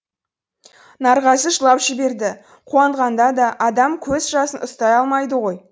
нарғазы жылап жіберді қуанғанда да адам көз жасын ұстай алмайды ғой